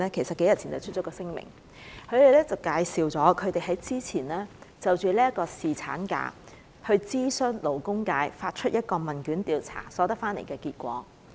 數天前，他們發出了一份聲明，介紹了之前就侍產假諮詢勞工界所發出的問卷的調查結果。